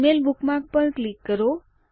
Gmail bookmark પર click કરો